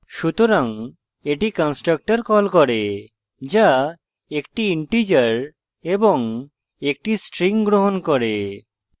সুতরাং এটি constructor calls করে calls 1 the integer এবং 1 the string গ্রহণ করে